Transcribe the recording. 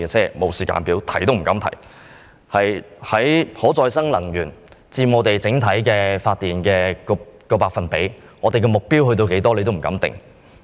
不但沒有時間表，連提也不敢提，連可再生能源佔整體發電的百分比及目標為何。